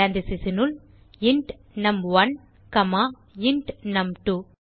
parenthesesனுள் int num one comma int நும்2